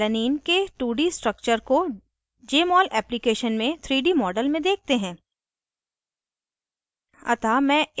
सबसे पहले alanine के 2d structure को jmol application में 3d model में देखते हैं